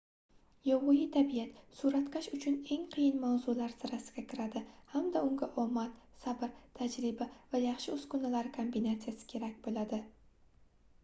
yovvoyi tabiat suratkash uchun eng qiyin mavzular sirasiga kiradi hamda unga omad sabr tajriba va yaxshi uskunalar kombinatsiyasi kerak boʻladi